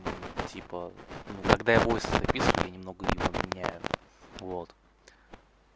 когда будет немного не поменяю вот